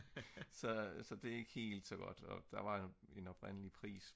så det er ikke helt så godt og der var en oprindelig pris